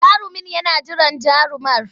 Jarumin yana jiran jarumar.